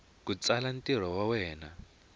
ku tsala ntirho wa wena